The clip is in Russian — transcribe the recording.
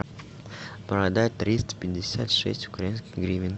продать триста пятьдесят шесть украинских гривен